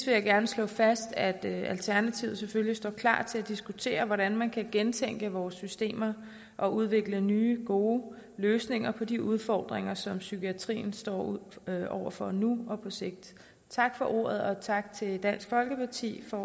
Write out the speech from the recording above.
jeg gerne slå fast at alternativet selvfølgelig står klar til at diskutere hvordan man kan gentænke vores systemer og udvikle nye gode løsninger på de udfordringer som psykiatrien står over for nu og på sigt tak for ordet og tak til dansk folkeparti for